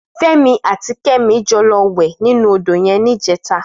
Femi àtí Kemi jò lò wè ninú ódó yèn nijètá